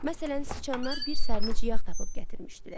Məsələn, siçanlar bir sərinic yağ tapıb gətirmişdilər.